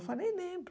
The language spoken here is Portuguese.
Eu falei, lembro.